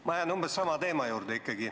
Ma jään umbes sama teema juurde.